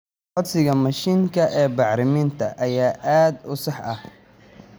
Codsiga mashiinka ee bacriminta ayaa aad u sax ah.